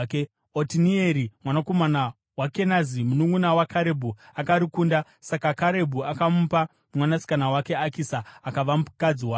Otinieri mwanakomana waKenazi, mununʼuna waKarebhu akarikunda; saka Karebhu akamupa mwanasikana wake Akisa akava mukadzi wake.